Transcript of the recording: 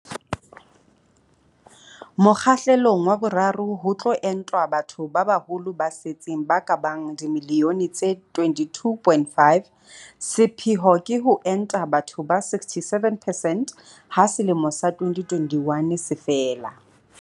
Mokgahlelong wa boraro ho tlo entwa batho ba baholo ba setseng ba ka bang dimiliyone tse 22.5. Sepheo ke ho enta batho ba 67 percent ha selemo sa 2021 se fela.